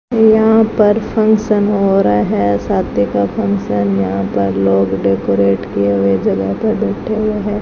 यहां पर फंक्शन हो रहा है शादी का फंक्शन यहां पर लोग डेकोरेट किए हुए जगह पर बैठे हुए है।